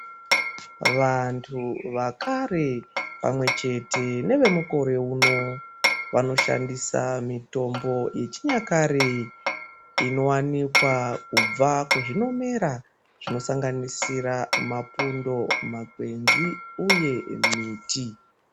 Vantu vekare pamwechete nevemukore uno vanoshandisa mitombo yechinyakare inowanikwa kubva kuzvinomera zvinosanganisira mapundo, makwenzi, uye miti.